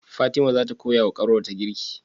Fatima zata koya wa kanwar ta girki?